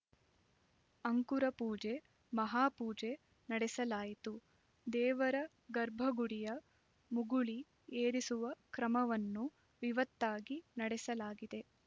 ಅಂಕುರಪೂಜೆ ಮಹಾಪೂಜೆ ನಡೆಸಲಾಯಿತು ದೇವರ ಗರ್ಭಗುಡಿಯ ಮುಗುಳಿ ಏರಿಸುವ ಕ್ರಮವನ್ನು ವಿವತ್ತಾಗಿ ನಡೆಸಲಾಗಿದೆ